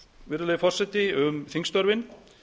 virðulegi forseti um þingstörfin